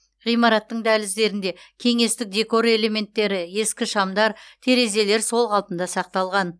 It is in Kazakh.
ғимараттың дәліздерінде кеңестік декор элементтері ескі шамдар терезелер сол қалпында сақталған